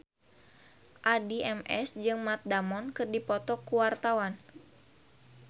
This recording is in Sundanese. Addie MS jeung Matt Damon keur dipoto ku wartawan